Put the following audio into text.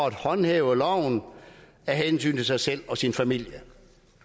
at håndhæve loven af hensyn til sig selv og sin familie